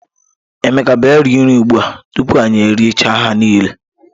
Emeka bia rie nri ugbua o, tupu anyi eri chaa ha nile.